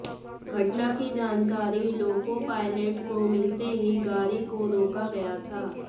घटना की जानकारी लोको पायलेट को मिलते ही गाड़ी को रोका गया था